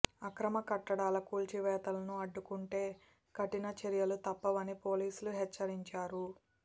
అక్రమ కట్టడాల కూల్చివేతలను అడ్డుకుంటే కఠిన చర్యలు తప్పవని పోలీసులు హెచ్చరించారు